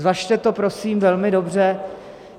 Zvažte to, prosím, velmi dobře.